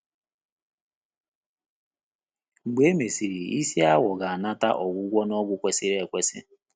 Mgbe e mesịrị, isi awọ ga-anata ọgwụgwọ na ọgwụ kwesịrị ekwesị.